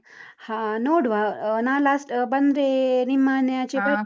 ಹಾ ನೋಡುವ ನಾನ್ last ಬಂದ್ರೆ ನಿಮ್ಮನೆಯಾಚೆ ಬರ್ತೇನೆ.